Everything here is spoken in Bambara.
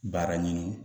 Baara ɲini